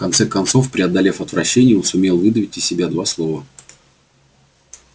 в конце концов преодолев отвращение он сумел выдавить из себя два слова